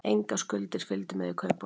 Engar skuldir fylgdu með í kaupunum